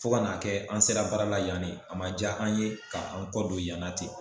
Fo ka na kɛ an sera baara la yan de . A ma ja an ye ka an kɔ don yan na ten.